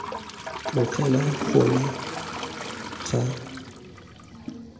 tlogela gona ga nkitla lefoko